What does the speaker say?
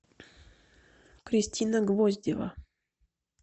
кристина гвоздева